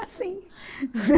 Assim.